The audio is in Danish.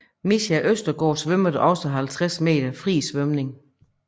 Micha Østergaard svømmede også 50 m fri svømning